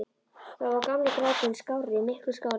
Þá var gamli gráturinn skárri- miklu skárri.